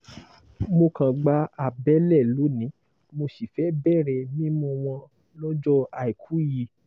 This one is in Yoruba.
mo kan gba àbẹ̀lẹ̀ lóní mo sì fẹ́ẹ̀ bẹ̀rẹ̀ mímú wọn lọ́jọ́ àìkú yìí